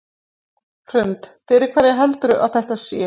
Hrund: Fyrir hverja heldurðu að þetta sé?